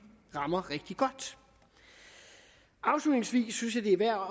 rammer rigtig godt afslutningsvis synes jeg det er værd